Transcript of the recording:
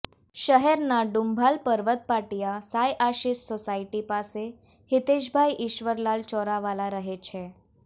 શહેરના ડુંભાલ પર્વત પાટીયા સાંઈ આશિષ સોસાયટી પાસે હિતેષભાઈ ઈશ્વરલાલ ચોરાવાલા રહે છે